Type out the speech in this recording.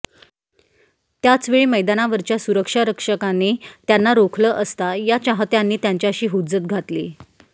त्याचवेळी मैदानावरच्या सुरक्षारक्षकांनी त्यांना रोखलं असता या चाहत्यांनी त्यांच्याशी हुज्जत घातली